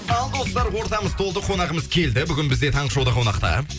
ал достар ортамыз толды қонағымыз келді бүгін бізде таңғы шоуда қонақта